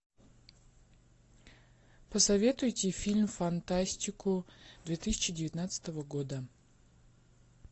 посоветуйте фильм фантастику две тысячи девятнадцатого года